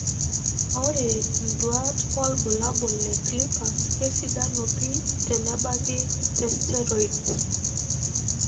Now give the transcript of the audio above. Ore nduat wobulabul le CLIPPERS kesidanu pii tenebaki te steroids.